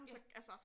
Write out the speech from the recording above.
Ja